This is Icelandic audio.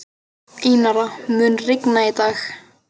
Einara, mun rigna í dag?